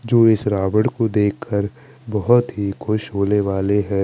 जो इस रावन को देख कर बोहोत ही खुश होने वाले है।